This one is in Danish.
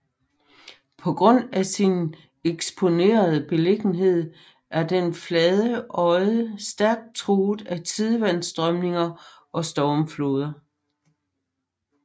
På grund af sin eksponerede beliggenhed er den flade odde stærk truet af tidevandsstrømninger og stormfloder